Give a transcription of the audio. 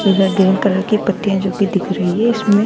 इधर green colour की पत्तियाँ है जो की दिख रही है इसमें --